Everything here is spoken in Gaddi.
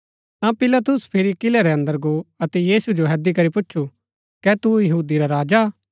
ता पिलातुस फिरी किलै रै अन्दर गो अतै यीशु जो हैदी करी पूच्छु कै तू यहूदी रा राजा हा